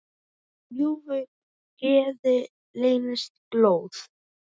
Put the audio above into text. Í ljúfu geði leynist glóð.